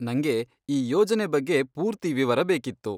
ನಂಗೆ ಈ ಯೋಜನೆ ಬಗ್ಗೆ ಪೂರ್ತಿ ವಿವರ ಬೇಕಿತ್ತು.